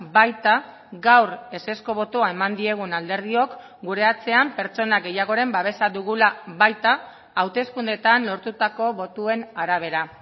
baita gaur ezezko botoa eman diegun alderdiok gure atzean pertsona gehiagoren babesa dugula baita hauteskundeetan lortutako botoen arabera